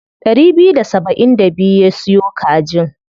Ɗari biyu da saba'in da biyu ya siyo kajin.